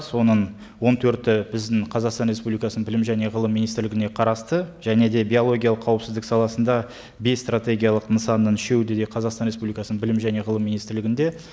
соның он төрті біздің қазақстан республикасының білім және ғылым министрлігіне қарасты және де биологиялық қауіпсіздік саласында бес стратегиялық нысанның үшеуі де қазақстан республикасының білім және ғылым министрлігінде